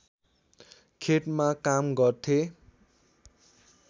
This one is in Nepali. खेतमा काम गर्थे